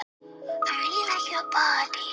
Hún hreyfist öll sem í dansi.